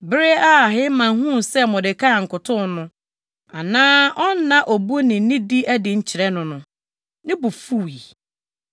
Bere a Haman huu sɛ Mordekai nkotow no, anaa ɔnna obu ne nidi adi nkyerɛ no no, ne bo fuwii.